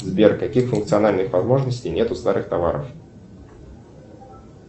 сбер каких функциональных возможностей нет у старых товаров